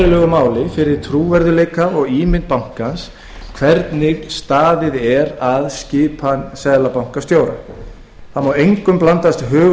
verulegu máli skiptir fyrir trúverðugleika og ímynd bankans hvernig staðið er að skipan seðlabankastjóra það má engum blandast hugur